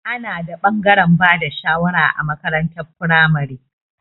Ana da ɓangaren bada shawara a makarantar firamare.